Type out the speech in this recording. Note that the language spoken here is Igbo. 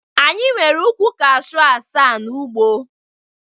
Anyị nwere ukwu Kashu asaa n'ugbo.